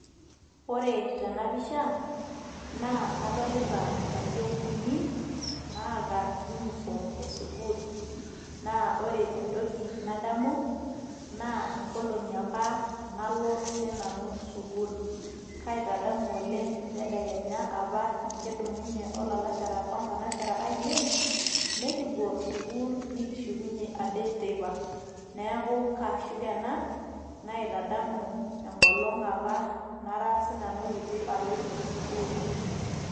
ore tena pisha naa kadolita nkayiok uni naata uniform e sukuul naa ore entoki nadamu naa inkolong'i apa nalo siinanu sukuul kaitadamu oleng entedekenya apa nikidumunye olalashara onkanashara ainei nikipuo sukuul nikishukunye ade teipa neeku kaashuk ena naitadamu enkolong apa nara sinanu kiti aloito sukuul.